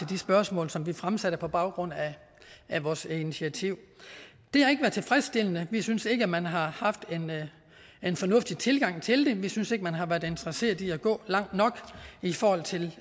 de spørgsmål som vi fremsatte på baggrund af vores initiativ det har ikke været tilfredsstillende vi synes ikke at man har haft en fornuftig tilgang til det vi synes ikke man har været interesseret i at gå langt nok i forhold til